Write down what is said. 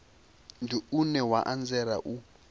ndi une wa anzela u